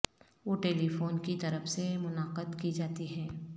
وہ telephone کی طرف سے منعقد کی جاتی ہیں